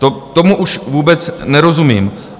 Tomu už vůbec nerozumím.